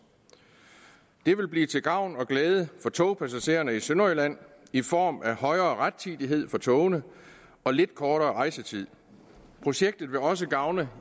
det vil blive til gavn og glæde for togpassagererne i sønderjylland i form af højere rettidighed for togene og lidt kortere rejsetid projektet vil også gavne